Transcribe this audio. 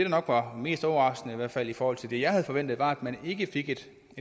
nok var mest overraskende i hvert fald i forhold til det jeg havde forventet var at man ikke fik et